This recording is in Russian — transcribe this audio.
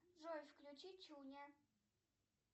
джой включи чуня